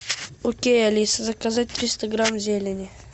окей алиса заказать триста грамм зелени